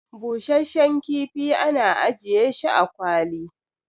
busasshen kifi ana ajiye shi a kwali